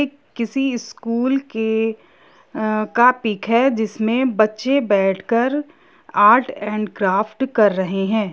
किसी स्कूल के का पिक है जिसमें बच्चे बैठकर आर्ट एंड क्राफ्ट कर रहे हैं।